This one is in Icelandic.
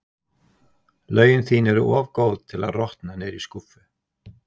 Lögin þín eru of góð til að rotna niðri í skúffu.